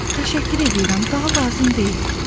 Təşəkkür eləyirəm, daha lazım deyil.